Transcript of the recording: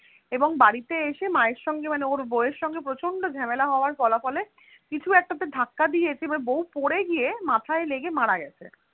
এবং বাড়িতে এসে মায়ের সঙ্গে মানে ওই বউ এর সঙ্গে প্রচন্ড ঝামেলা হবার ফলাফলে কিছু একটাতে ধাক্কা দিয়েছে এবার বউ পরে গিয়ে মাথায় লেগে মারা গেছে